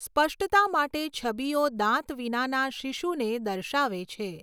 સ્પષ્ટતા માટે, છબીઓ દાંત વિનાના શિશુને દર્શાવે છે.